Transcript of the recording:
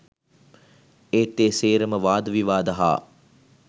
ඒත් ඒ සේරම වාද විවාද හා